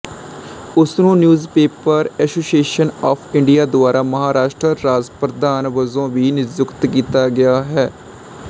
ਉਸਨੂੰ newspaper association of India ਦੁਆਰਾ ਮਹਾਰਾਸ਼ਟਰ ਰਾਜ ਪ੍ਰਧਾਨ ਵਜੋਂ ਵੀ ਨਿਯੁਕਤ ਕੀਤਾ ਗਿਆ ਹੈ